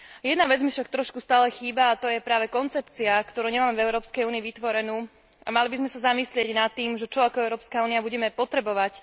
Jedna vec mi však stále trochu chýba, a to je práve koncepcia, ktorú nemáme v Európskej únii vytvorenú, a mali by sme sa zamyslieť nad tým, čo budeme ako Európska únia potrebovať.